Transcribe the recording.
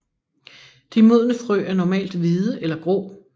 De modne frø er normalt hvide eller grå